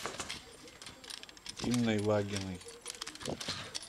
инной вагиной